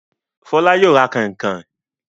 Fọlá yóò ra kànkàn.